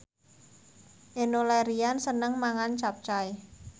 Enno Lerian seneng mangan capcay